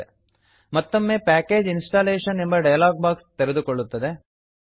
ಮತ್ತೊಮ್ಮೆ package installation package installation ಎಂಬ dialog box ತೆರೆದುಕೊಳ್ಳುತ್ತದೆ